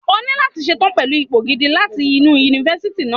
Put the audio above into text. O ní láti ṣe tán pẹ̀lú ipò gidi láti inú Yunifásítì náà.